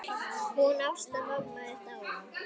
Hún Ásta amma er dáin.